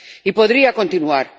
Y podría continuar.